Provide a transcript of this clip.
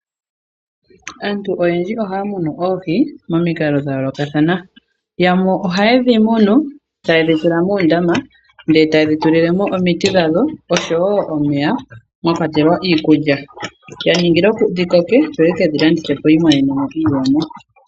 Aantu oyendji ohaya munu oohi momikalo dha yoolokathana. Yamwe oha yedhi munu taye dhi tula moondama etaye dhi tulilemo omiti dhawo oshowo omeya mwakwatelwa iikulya ya ningila dhi koke yo yekedhi landithepo yi imonenemo iiyemo.